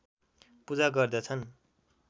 पूजा गर्दछन्